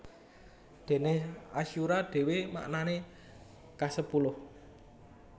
Déné asyura dhéwé maknané kasepuluh